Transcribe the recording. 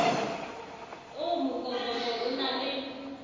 oo mokobobo o na le